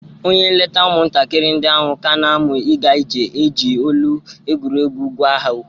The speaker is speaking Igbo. Onye nleta ụmụntakịrị ndï ahụ ka na- amụ ịga ije ga-eji olu egwuregwu gwa ha okwu.